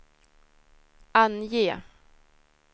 ange